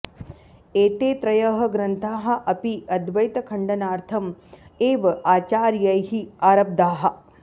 एते त्रयः ग्रन्थाः अपि अद्वैतखण्डनार्थं एव आचार्यैः आरब्धाः